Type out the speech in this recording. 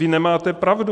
Vy nemáte pravdu.